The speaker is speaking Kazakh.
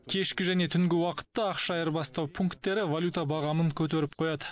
кешкі және түнгі уақытта ақша айырбастау пунктері валюта бағамын көтеріп қояды